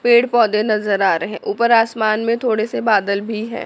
पेड़ पौधे नजर आ रहे हैं ऊपर आसमान में थोड़े से बादल भी है।